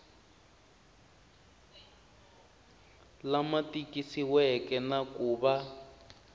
lama tikisiweke na ku va